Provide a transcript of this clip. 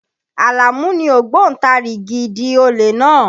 Àlàmú ni ògbóntarigìdì olè náà.